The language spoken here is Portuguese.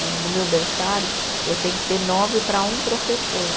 Né no meu berçário, eu tenho que ter nove para um professor.